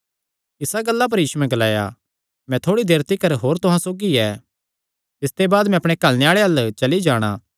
इस गल्ला पर यीशुयैं ग्लाया मैं थोड़ी देर तिकर होर तुहां सौगी ऐ तिसते बाद मैं अपणे घल्लणे आल़े अल्ल चली जाणा